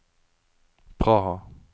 Praha